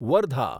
Wardha